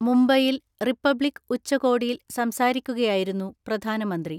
മുംബൈയിൽ റിപ്പബ്ലിക് ഉച്ചകോടിയിൽ സംസാരിക്കുകയായിരുന്നു പ്രധാനമന്ത്രി.